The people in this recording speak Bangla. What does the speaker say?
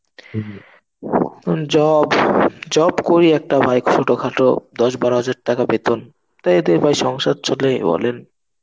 job, job করি একটা ভাই, ছোটখাটো, দশ বারো হাজার টাকা বেতন. এতে ভাই সংসার চলে বলেন.